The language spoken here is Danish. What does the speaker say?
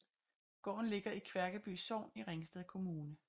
Gården ligger i Kværkeby Sogn i Ringsted Kommune